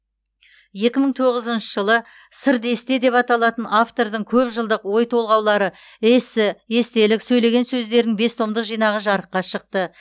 екі мың тоғызыншы жылы сыр десте деп аталатын автордың көп жылдық ой толғаулары эссе естелік сөйлеген сөздерінің бес томдық жинағы жарыққа шықты